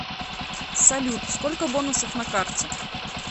салют сколько бонусов на карте